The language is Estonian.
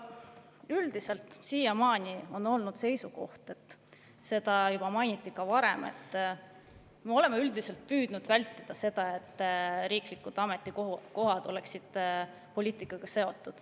Üldiselt on siiamaani olnud seisukoht – seda mainiti ka varem –, et me oleme püüdnud vältida riiklike ametikohtade seotust poliitikaga.